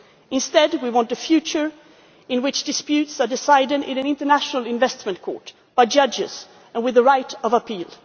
Instead, we want a future in which disputes are decided in an international investment court, by judges and with a right of appeal.